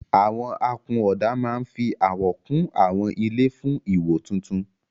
Àwọn akunọ̀ọ̀dà máa ń fi àwọ̀ kún àwọn ilé fún ìwò tuntun.